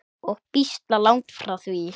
Og býsna langt frá því.